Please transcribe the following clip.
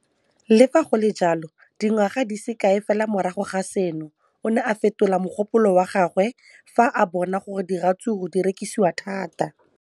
Le fa go le jalo, dingwaga di se kae fela morago ga seno, o ne a fetola mogopolo wa gagwe fa a bona gore diratsuru di rekisiwa thata.